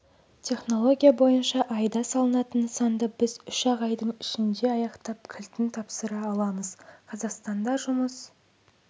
технология бойынша айда салынатын нысанды біз үш-ақ айдың ішінде аяқтап кілтін тапсыра аламыз қазақстанда жұмыс